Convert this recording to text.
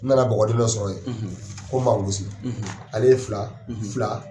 N nana bɔgɔdɛmɛ sɔrɔ yen ko mawulusi. ale ye fila fila